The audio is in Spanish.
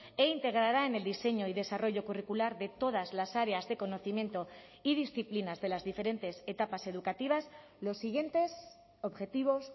e integrará en el diseño y desarrollo curricular de todas las áreas de conocimiento y disciplinas de las diferentes etapas educativas los siguientes objetivos